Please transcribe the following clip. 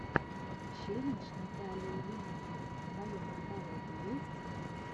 челлендж наталии лемур в твоем каталоге есть